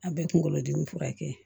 A bɛ kunkolo dimi furakɛ